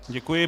Děkuji.